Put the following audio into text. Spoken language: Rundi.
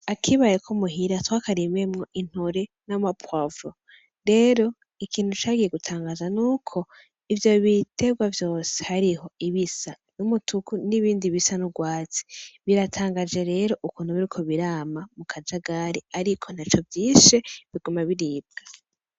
Akibare ko muhira twakarimyemwo intore n'ama poivrons. Rero ikintu cagiye kudutangaza n'uko ivyo biterwa vyose hariho ibisa n'umutuku n'ibindi bisa n'urwatsi, biratangaje rero ukuntu biriko birama mu kajagari ariko ntaco vyishe biguma biribwa.